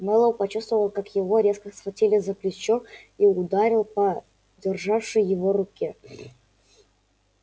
мэллоу почувствовал как его резко схватили за плечо и ударил по державшей его руке